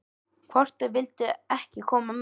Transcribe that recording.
Hvort þau vildu ekki koma með?